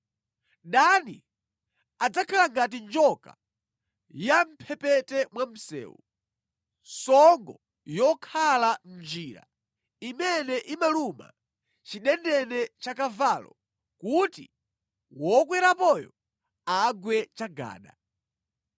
Dani adzakhala ngati njoka ya mʼmphepete mwa msewu, songo yokhala mʼnjira imene imaluma chidendene cha kavalo kuti wokwerapoyo agwe chagada.